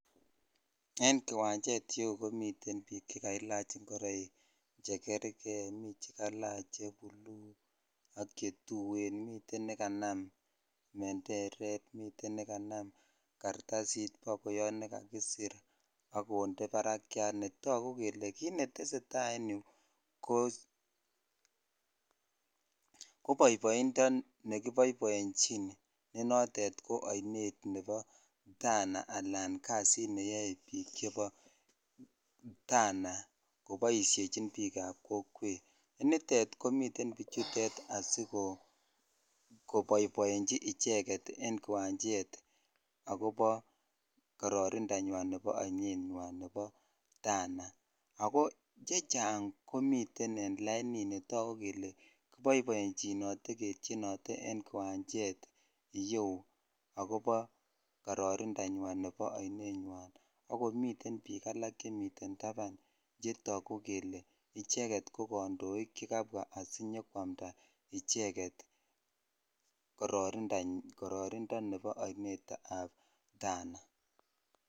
En kiwanjet ireu komiten biik chekailach ngoroik che kerge. Michekalach che buluu ak chetuen. Mi nekanam menderet, miten ne kanam kartasit, bakoyot ne kakisir ak konde barakyat ne tagu kele kit neteseta en yu ko, ko boiboindo nekiboiboenjin ne notet ko ainet nebo Tana anan kasit neyoe biik chebo Tana koboisiechin biikab kokwet. Initet ko miten biichutet asikoboiboenji icheget en kiwanjet agobo kororonindonywan nebo ainetnywan nebo Tana ago chechang ko miten en lain netagu kele kiboiboinjinote ketienote en kiwanjet iyou akobo kororonindonywan nebo ainenywan ogot miten biik alak chemiten taban chetagu kele icheget ko kandoik chekabwa asinyokwamnda icheget kororonindo nebo ainetab Tana.